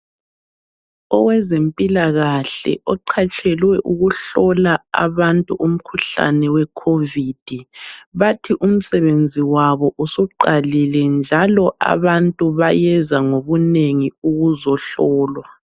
Owezempilakahle oqhatshelwe ukuhlola abantu umkhuhlane we Covid. Bathi umsebenzi wabo usuqalile njalo abantu bayeza ngokunengi ukuzohlolwa.